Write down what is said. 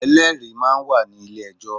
Ẹlẹ́rìí ma ń wà nílé ejọ́.